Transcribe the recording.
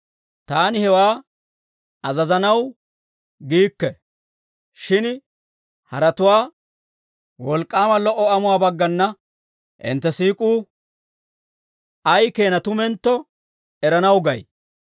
Taani hewaa azazanaw giikke; shin haratuwaa wolk'k'aama lo"o amuwaa baggana hintte siik'uu ay keenaa tumentto eranaw gay.